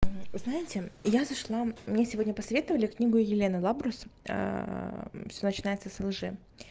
знаете я зашла мне сегодня посоветовали книгу елена лабрус всё начинается с лжи